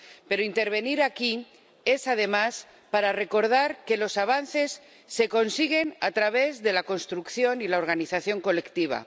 Pero intervengo aquí, además, para recordar que los avances se consiguen a través de la construcción y la organización colectiva.